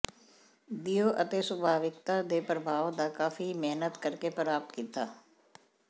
ਦਿਓ ਅਤੇ ਸੁਭਾਵਿਕਤਾ ਦੇ ਪ੍ਰਭਾਵ ਦਾ ਕਾਫ਼ੀ ਮਿਹਨਤ ਕਰਕੇ ਪ੍ਰਾਪਤ ਕੀਤਾ